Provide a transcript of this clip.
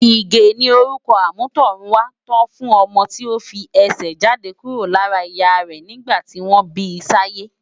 Ige ni órùkò ámùtòrùn wá tò fùn òmò ti ó fi èsè jádé kúró lárà iyà rè nigbá tiwón bisáyé